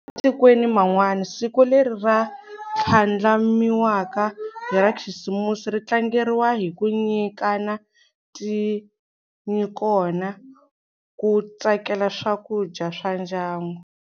E matikweni man'wana siku leri ra thlandlamiwaka hi ra Khisimusi, ri tlangeriwa hi ku nyikana tinyikona ku tsakela swakudya swa ndyangu.